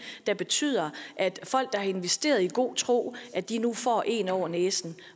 der betyder at folk der har investeret i god tro nu får en over næsen